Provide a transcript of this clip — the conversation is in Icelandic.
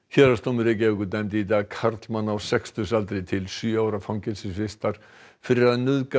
héraðsdómur Reykjavíkur dæmdi í dag karlmann á sextugsaldri til sjö ára fangelsisvistar fyrir að nauðga